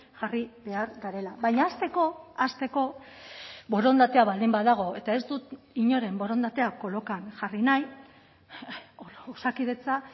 jarri behar garela baina hasteko hasteko borondatea baldin badago eta ez dut inoren borondatea kolokan jarri nahi osakidetza